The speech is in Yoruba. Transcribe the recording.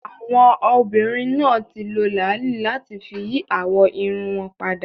Àwọn obìnrin náà ti lo làálí láti fi yí àwọ̀ irun wọn padà